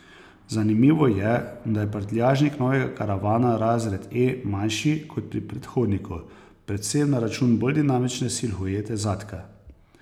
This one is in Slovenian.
Zanimivo je, da je prtljažnik novega karavana razred E manjši kot pri predhodniku, predvsem na račun bolj dinamične silhuete zadka.